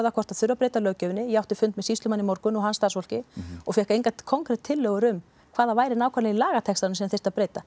hvort það þurfi að breyta löggjöfinni ég átti fund með sýslumanni í morgun og hans starfsfólki og fékk engar konkret tillögur um hvað það væri nákvæmlega í lagatextanum sem þyrfti að breyta